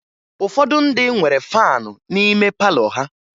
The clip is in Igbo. Ụfọdụ ndị nwere faan n'ime palọ ha